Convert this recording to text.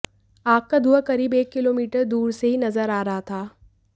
आग का धुआं करीब एक किलोमीटर दूर से ही नजर आ रहा था